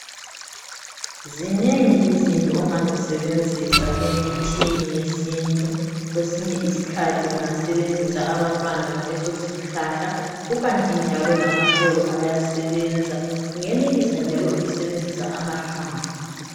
Zinengi izinto ongazisebenzisa emithini yesintu kwesinye iskhathi ungasebenzisa abantwana baleso sihlahla kukanti njalo lamaxolo ayasebenza , ungenelisa njalo lokusebenzisa amahlamvu